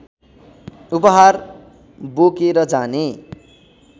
उपहार बोकेर जाने